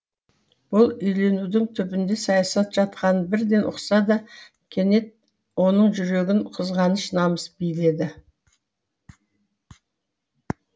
бұл үйленудің түбінде саясат жатқанын бірден ұқса да кенет оның жүрегін қызғаныш намыс биледі